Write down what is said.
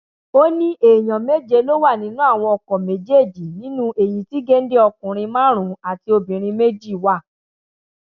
ó ní èèyàn méje ló wà nínú àwọn ọkọ méjèèjì nínú èyí tí géńdé ọkùnrin márùnún àti obìnrin méjì wà